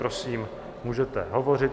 Prosím, můžete hovořit.